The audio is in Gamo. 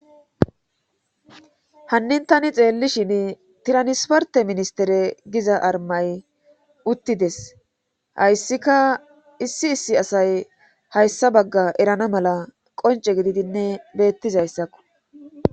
Hannin tani xeellishin tiranisporte ministere giza armay uttides hayssika issi issi asay hayssa bagga erana mala qonce gididinne beettizayssakko.